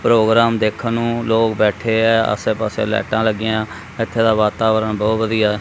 Programme ਦੇਖਣ ਨੂੰ ਲੋਗ ਬੈਠੇ ਹੈਂ ਆਸੇ ਪਾੱਸੇ ਲਾਈਟਾਂ ਲੱਗੀਆਂ ਇੱਥੇ ਦਾ ਵਾਤਾਵਰਣ ਬਹੁਤ ਵਧੀਆ ਹੈ।